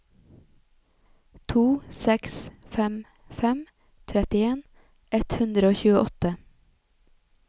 to seks fem fem trettien ett hundre og tjueåtte